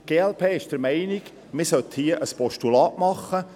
Die glp ist der Meinung, man sollte hierzu ein Postulat machen.